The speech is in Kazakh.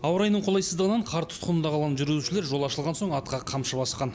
ауа райының қолайсыздығынан қар тұтқынында қалған жүргізушілер жол ашылған соң атқа қамшы басқан